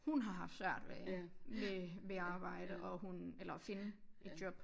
Hun har haft svært ved med med arbejde og hun eller finde et job